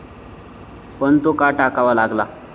पण तो का टाकावा लागला.